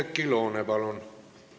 Oudekki Loone, palun!